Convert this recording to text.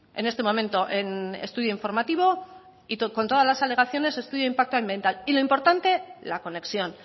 en este momento en estudio informativo y con todas las alegaciones estudio impacto ambiental y lo importante la conexión